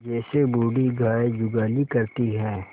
जैसे बूढ़ी गाय जुगाली करती है